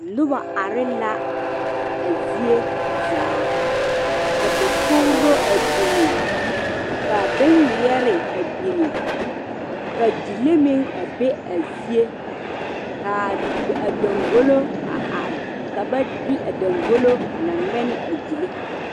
Noba are la a zie zaa ka dakogri a biŋa ka bon ŋmeɛrɛ a biŋa ka gyile meŋ a be a zie kaa dangɔlɔ a are ka ba de a dangɔlɔ a na ŋɛne a gyile.